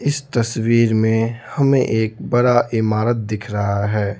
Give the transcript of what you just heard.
इस तस्वीर में हमें एक बड़ा इमारत दिख रहा है।